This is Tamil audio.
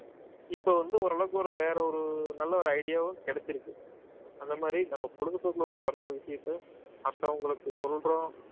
இப்ப வந்து ஓரளவுக்கு ஒரு வேற ஒரு நல்ல ஒரு idea வும் கிடைச்சிருக்கு அந்த மாதிரி நம்ம பொழுதுபோக்குல ஒரு மத்தவங்களுக்கு சொல்றோம்